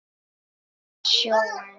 Um sjóðinn